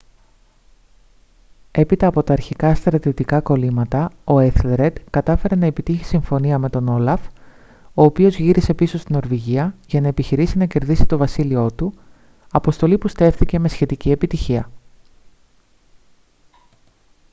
έπειτα από τα αρχικά στρατιωτικά κωλύματα ο έθελρεντ κατάφερε να επιτύχει συμφωνία με τον όλαφ ο οποίος γύρισε πίσω στη νορβηγία για να επιχειρήσει να κερδίσει το βασίλειό του αποστολή που στέφθηκε με σχετική επιτυχία